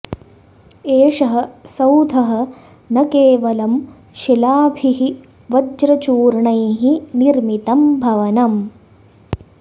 एषः सौधः न केवलं शिलाभिः वज्रचूर्णैः निर्मितम् भवनम्